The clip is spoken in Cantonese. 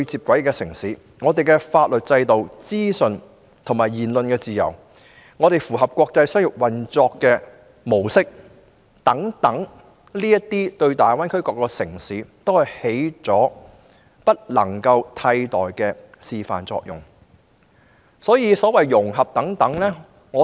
本港的法律制度、資訊流通、言論自由及符合國際標準的商業運作模式等，均對大灣區各城市起着不能替代的示範作用。